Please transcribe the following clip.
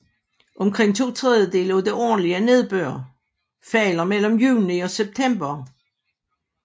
Omkring to tredjedele af den årlig nedbør falder mellem juni og september